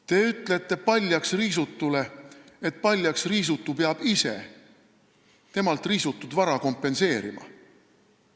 Te ütlete paljaks riisutule, et ta peab ise temalt riisutud vara kompenseerima.